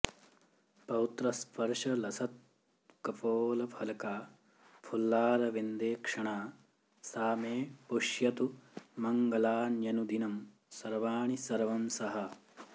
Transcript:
पौत्रस्पर्शलसत्कपोलफलका फुल्लारविन्देक्षणा सा मे पुष्यतु मङ्गलान्यनुदिनं सर्वाणि सर्वंसहा